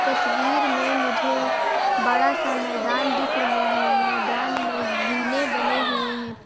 तस्वीर में मुझे बड़ा-सा मैदान दिख रहा है मैदान में जीने बने हुए हैं।